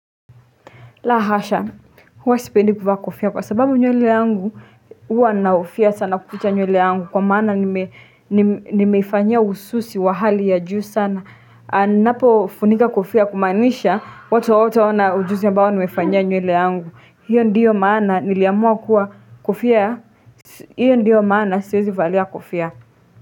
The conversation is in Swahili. La hasha, huwa sipendi kuvaa kofia kwa sababu nywele yangu huwa nahofia sana kuficha nywele yangu kwa maana nime nimeifanyia ususi wa hali ya juu sana. Ninapo funika kofia kumaanisha, watu hawataona ujuzi ambao nimefanyia nywele yangu. Hiyo ndiyo maana niliamua kuwa kofia ya? Hiyo ndiyo maana siwezi valia kofia.